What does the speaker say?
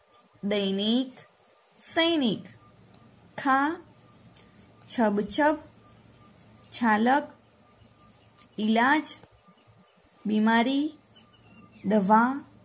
દૈનિક, સૈનિક, ખા છબ છબ છાલક, ઈલાજ, બીમારી, દવા